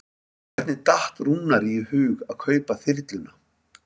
Hvernig datt Rúnari í hug að kaupa þyrluna?